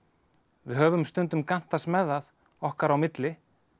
við höfum stundum gantast með það okkar á milli